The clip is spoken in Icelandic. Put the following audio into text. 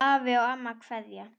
Afi og amma kveðja